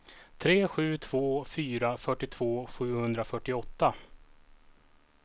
tre sju två fyra fyrtiotvå sjuhundrafyrtioåtta